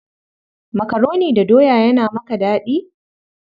Makaroni da doya yana maka daɗi?